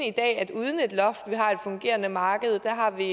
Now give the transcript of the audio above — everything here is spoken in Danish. i dag at uden et loft har vi et fungerende marked der har vi